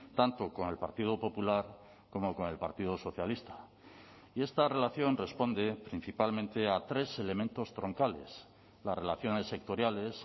tanto con el partido popular como con el partido socialista y esta relación responde principalmente a tres elementos troncales las relaciones sectoriales